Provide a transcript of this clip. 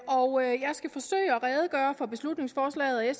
og jeg skal forsøge at redegøre for beslutningsforslaget og